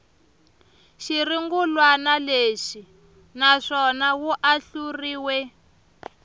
xirungulwana lexi naswona wu ahluriwe